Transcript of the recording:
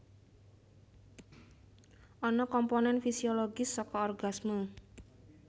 Ana komponen fisiologis saka orgasme